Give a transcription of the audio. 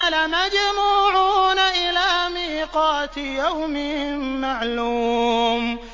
لَمَجْمُوعُونَ إِلَىٰ مِيقَاتِ يَوْمٍ مَّعْلُومٍ